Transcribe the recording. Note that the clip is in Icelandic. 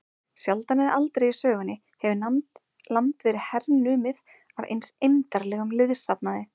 Sjaldan eða aldrei í sögunni hefur land verið hernumið af eins eymdarlegum liðsafnaði.